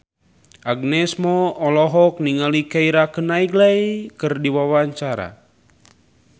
Agnes Mo olohok ningali Keira Knightley keur diwawancara